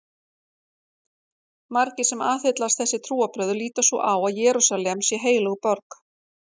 Margir sem aðhyllast þessi trúarbrögð líta svo á að Jerúsalem sé heilög borg.